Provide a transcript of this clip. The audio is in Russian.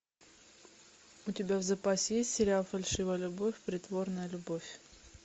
у тебя в запасе есть сериал фальшивая любовь притворная любовь